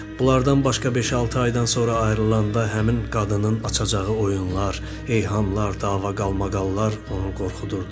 Bunlardan başqa beş-altı aydan sonra ayrılanda həmin qadının açacağı oyunlar, eyhamlar, dava-qalmaqallar onu qorxudurdu.